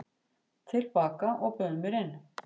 til baka og bauð mér inn.